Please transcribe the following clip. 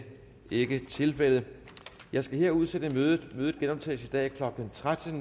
ikke tilfældet jeg skal her udsætte mødet det genoptages i dag klokken tretten